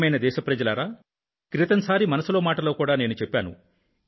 ప్రియమైన నా దేశ ప్రజలారా క్రితం సారి మనసులో మాటలో కూడా నేను చెప్పాను